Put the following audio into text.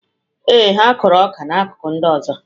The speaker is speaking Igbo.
Ee, ha kụrụ ọka na akụkụ ndị ọzọ.